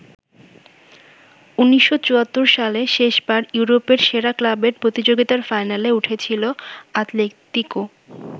১৯৭৪ সালে শেষবার ইউরোপের সেরা ক্লাবের প্রতিযোগিতার ফাইনালে উঠেছিল আতলেতিকো।